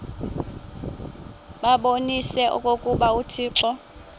babonise okokuba uthixo